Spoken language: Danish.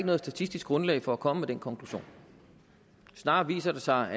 noget statistisk grundlag for at komme med den konklusion snarere viser det sig